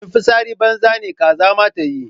In fitsari banza ne kaza ma tayi.